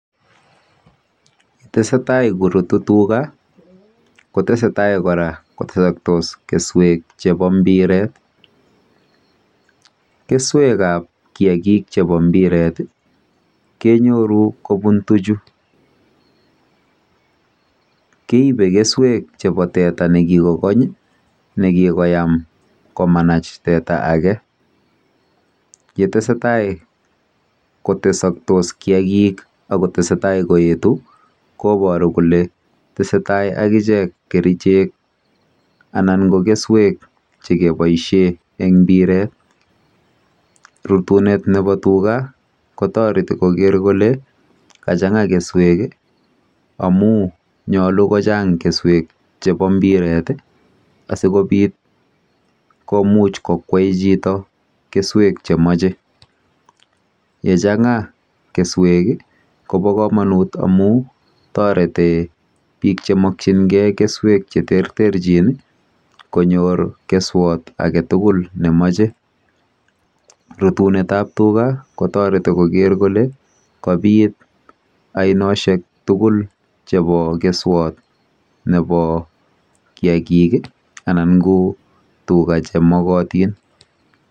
Yetese tai ko rutu tuga kotese tai kora kotesakse keswek chepo mbiret. Keswekap kiakik chepo mbiret kenyoru kopun tuchu. Keipe keswek chepo teta ne kikokony i, ne kikiyam komanach teta age yetese tai kotesakse kiakik ak kotese tai koetu koparu kole tese tai akichek kerichek anan keswek che kepaishe eng mbiret. Rutunet nepo tuga ko tareti koker kole kachang'a keswek amu nyalu ko chang' keswek chepo mbiret i, asikopit komuch kokwei chito keswek che mache .Ye chang'a keswek ko pa kanut amu tareti piik che makchingeinkeswek che terterchin i, konyor keswat age tugul ne mache. Rutunetap tuga kotareti koker kolekopit ainoshek tugul chepo keswot nepo kiakik anan ko tuga che makatin.